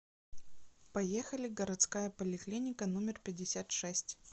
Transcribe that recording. поехали городская поликлиника номер пятьдесят шесть